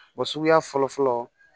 Wa suguya fɔlɔ fɔlɔ